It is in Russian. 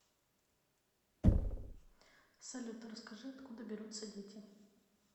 салют расскажи откуда берутся дети